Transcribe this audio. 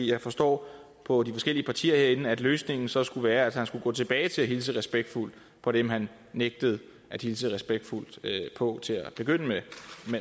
jeg forstår på de forskellige partier herinde at løsningen så skulle være at han skulle gå tilbage til at hilse respektfuldt på dem han nægtede at hilse respektfuldt på til at begynde med